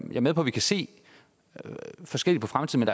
er med på at vi kan se forskelligt på fremtiden